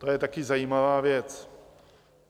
To je taky zajímavá věc.